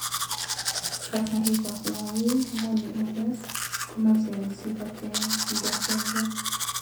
Kasari po Huawei-Harmony OS komacheng si kotengengee.